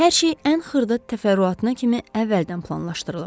Hər şey ən xırda təfərrüatına kimi əvvəldən planlaşdırılıb.